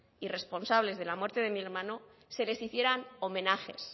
y responsables de la muerte de mi hermano se les hicieran homenajes